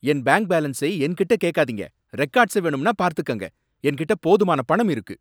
என் bank பேலன்ஸை என்கிட்ட கேக்காதீங்க. ரெகார்ட்ஸை வேணும்னா பார்த்துக்கங்க. என்கிட்ட போதுமான பணம் இருக்கு.